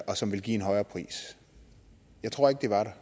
og som ville give en højere pris jeg tror ikke de var der